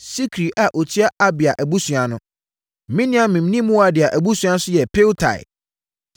Sikri a ɔtua Abia abusua ano. Miniamin ne Moadia abusua nso yɛ Piltai.